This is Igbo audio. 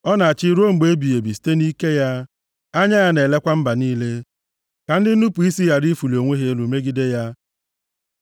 Ọ na-achị ruo mgbe ebighị ebi site nʼike ya, anya ya na-elekwa mba niile, ka ndị nnupu isi ghara ịfụlị onwe ha elu megide ya. Sela